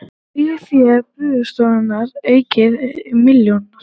Eigið fé Byggðastofnunar aukið um milljarð